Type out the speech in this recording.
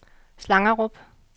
Slangerup